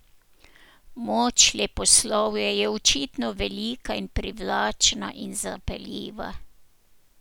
Moč leposlovja je očitno velika in privlačna in zapeljiva.